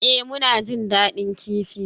Ee, muna jin daɗin kifi.